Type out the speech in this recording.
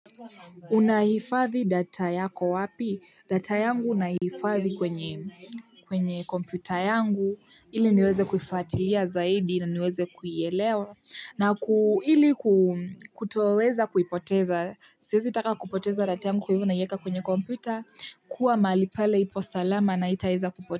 Unahifadhi data yako wapi? Data yangu nahifadhi kwenye kompyuta yangu ili niweze kuifatilia zaidi na niweze kuielewa na ili ku kutoweza kuipoteza, siezitaka kupoteza data yangu kwa hivyo naieka kwenye kompyuta kuwa mahali pale ipo salama na haitaweza kupotea.